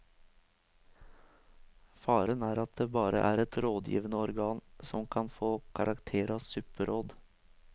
Faren er at det bare er et rådgivende organ som kan få karakter av supperåd.